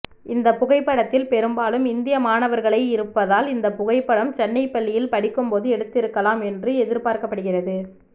இந்த புகைப்படத்தில் பெரும்பாலும் இந்திய மாணவர்களை இருப்பதால் இந்த புகைப்படம் சென்னை பள்ளியில் படிக்கும்போது எடுத்திருக்கலாம் என்று எதிர்பார்க்கப்படுகிறது